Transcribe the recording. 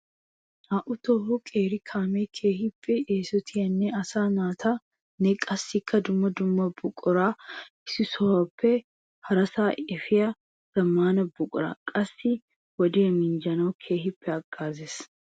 Naa'u tohuwa qeeri kaame keehippe eesotiyanne asaa naatanne qassikka dumma dumma buqura issi sohuwappe harassa efiya zamaana buqura. Qassikka wodiya minjjanawu keehi hagaazes.